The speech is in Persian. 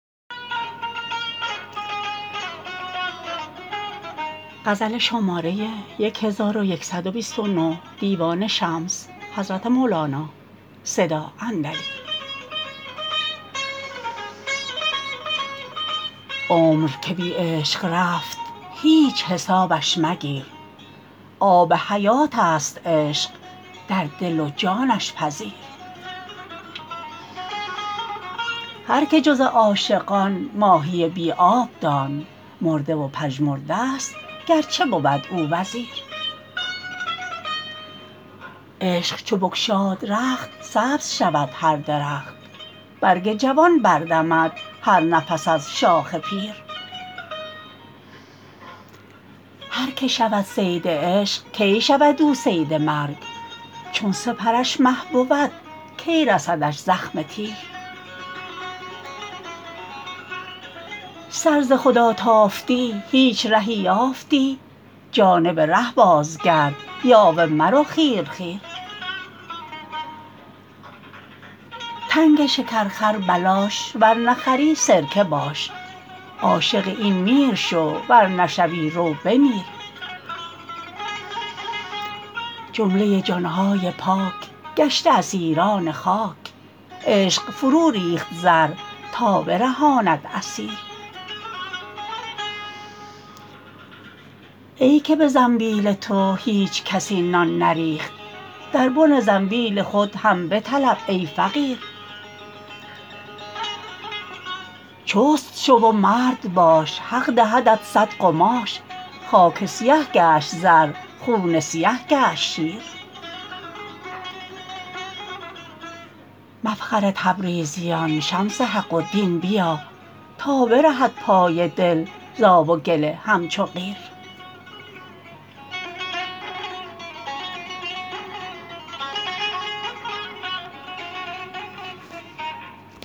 عمر که بی عشق رفت هیچ حسابش مگیر آب حیات ست عشق در دل و جانش پذیر هر که جز این عاشقان ماهی بی آب دان مرده و پژمرده است گر چه بود او وزیر عشق چو بگشاد رخت سبز شود هر درخت برگ جوان بر دمد هر نفس از شاخ پیر هر که شود صید عشق کی شود او صید مرگ چون سپرش مه بود کی رسدش زخم تیر سر ز خدا تافتی هیچ رهی یافتی جانب ره بازگرد یاوه مرو خیر خیر تنگ شکر خر بلاش ور نخری سرکه باش عاشق این میر شو ور نشوی رو بمیر جمله جان های پاک گشته اسیران خاک عشق فروریخت زر تا برهاند اسیر ای که به زنبیل تو هیچ کسی نان نریخت در بن زنبیل خود هم بطلب ای فقیر چست شو و مرد باش حق دهدت صد قماش خاک سیه گشت زر خون سیه گشت شیر مفخر تبریزیان شمس حق و دین بیا تا برهد پای دل ز آب و گل همچو قیر